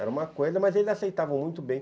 Era uma coisa, mas eles aceitavam muito bem.